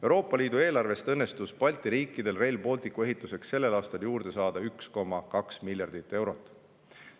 Euroopa Liidu eelarvest õnnestus Balti riikidel Rail Balticu ehituseks sel aastal juurde saada 1,2 miljardit eurot.